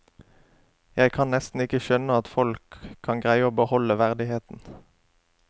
Jeg kan nesten ikke skjønne at folk kan greie å beholde verdigheten.